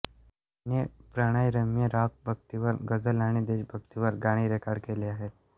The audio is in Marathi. त्यांनी प्रणयरम्य रॉक भक्तीपर गझल आणि देशभक्तीपर गाणी रेकॉर्ड केली आहेत